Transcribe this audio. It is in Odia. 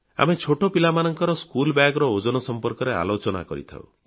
ଆମ ଛୋଟ ପିଲାମାନଙ୍କ ପଟାବସ୍ତାନି ସ୍କୁଲ bagର ଓଜନ ସଂପର୍କରେ ଆଲୋଚନା କରିଥାଉଁ